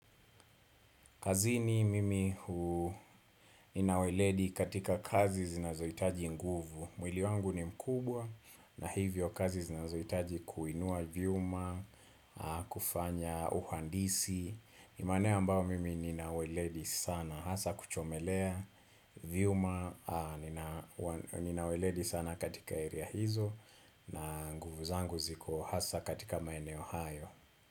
Kazini mimi nina uweledi katika kazi zinazoitaji nguvu. Mwili wangu ni mkubwa na hivyo kazi zinazohitaji kuinua viuma, kufanya uhandisi. Imani hio ambao mimi nina uweledi sana. Hasa kuchomelea vyuma, nina uweledi sana katika area hizo na nguvu zangu ziko hasa katika maeneo hayo.